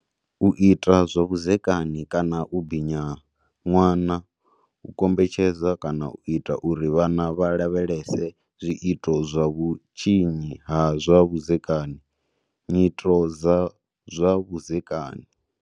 U ita zwa vhudzekani kana u binya ṅwana. U kombetshedza kana u ita uri vhana vha lavhelese zwi ito zwa vhutshinyi ha zwa vhudzekani, nyito dza zwa vhudzekani.